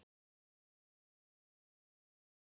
Þetta elskaði amma.